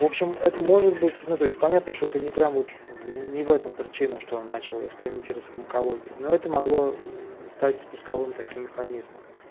в общем это может быть ну то есть понятно что это не прям вот не в этом причина что он начал экспериментировать с фармакологией но это могло стать спусковым таким механизмом